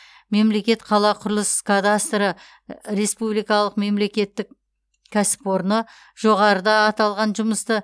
мемлекетқалақұрылыс кадастры республикалық мемлекеттік кәсіпорны жоғарыда аталған жұмысты